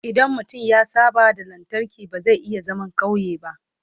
idan mutum ya saba da lantarki ba zai iya zaman ƙauye ba